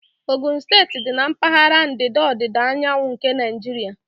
Ogun steeti dị na mpaghara ndịda ọdịda anyanwụ nke Naijiria.